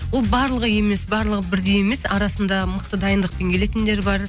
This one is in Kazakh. ол барлығы емес барлығы бірдей емес арасында мықты дайындықпен келетіндер бар